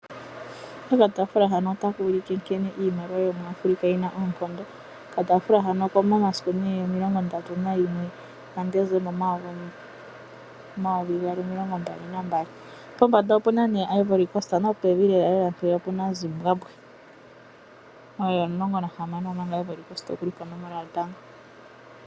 Nkene iimaliwa yomu Afrika yina oonkomdo, okatafula hano oko mo masiku omilongo ndatu nayimwe ga Ndesemba omayovi gaali omilongo mbali na mbali pombanda opuna Ivory Cost nopevi lela lela opuna Zimbabwe oye omulongo nahamano omanga Ivory Cost okuli po nomola yotango.